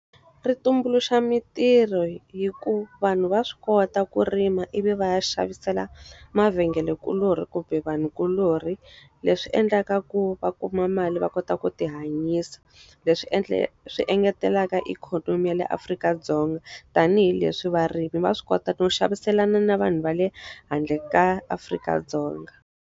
Ri tumbuluxa mintirho hikuva vanhu va swi kota ku rima ivi va ya xavisela mavhengelenkuloni kumbe vanhukuloni. Leswi endlaka ku va kuma mali va kota ta ku ti hanyisa. Leswi swi engeteleka ikhonomi ya le Afrika-Dzonga, tanihileswi varimi va swi kota no xaviselana na vanhu va le handle ka Afrika-Dzonga.